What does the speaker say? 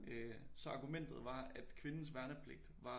Øh så argumentet var at kvindens værnepligt var